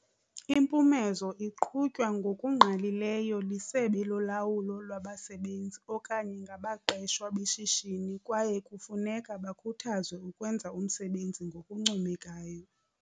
Impumezo iqhutywa ngokungqalileyo lisebe lolawulo lwabasebenzi okanye ngabaqeshwa beshishini kwaye kufuneka bakhuthazwe ukwenza umsebenzi ngokuncomekayo.